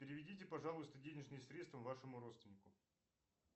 переведите пожалуйста денежные средства вашему родственнику